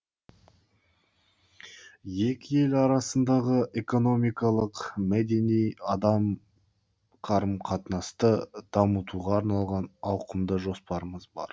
екі ел арасындағы экономикалық мәдени адам қарым қатынасты дамытуға арналған ауқымды жоспарымыз бар